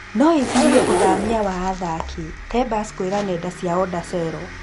Noĩgirie ũthamia wa athaki’’ Tebas kwĩra nenda cia Onda Cero